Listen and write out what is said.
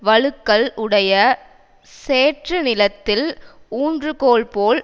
வழுக்கல் உடைய சேற்று நிலத்தில் ஊன்றுகோல் போல்